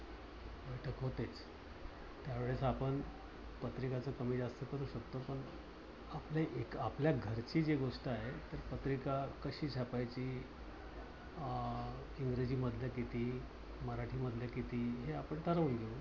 त्यावेळेस आपण पत्रिकाच कमीजास्त करू शकतो. पण आपल आपल्या घरची जी गोष्ट आहे. तर पत्रिका कशी छापायची अं इंग्रजी मधल्या किती? मराठी मधल्या किती? हे आपण ठरवून घेवू.